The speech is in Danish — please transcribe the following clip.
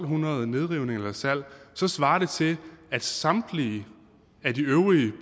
hundrede nedrivninger eller salg så svarer det til at samtlige af de øvrige